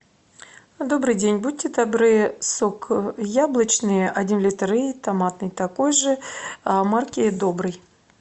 добрый день будьте добры сок яблочный один литр и томатный такой же марки добрый